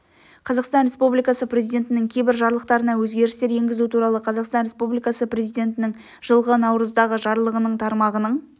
қазақстан республикасы президентінің кейбір жарлықтарына өзгерістер енгізу туралы қазақстан республикасы президентінің жылғы наурыздағы жарлығының тармағының